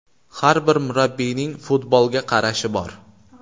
Har bir murabbiyning futbolga qarashi bor.